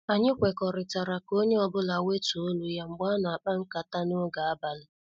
Anyị kwekọrịtara ka onye ọ bụla wetuo olu ya mgbe ana- akpa nkata n' oge abalị.